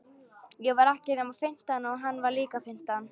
Ég var ekki nema fimmtán og hann var líka fimmtán.